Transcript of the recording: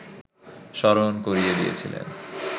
স্মরণ করিয়ে দিয়েছিলেন